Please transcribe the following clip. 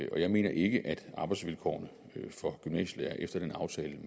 og jeg mener ikke at arbejdsvilkårene for gymnasielærere efter den aftale